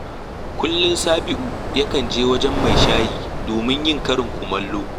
Kullum Sabi’u yakan je wajen mai shayi domin yin karin kumallo